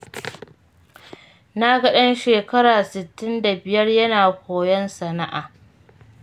Na ga ɗan shekara sittin da biyar yana koyon sana'a.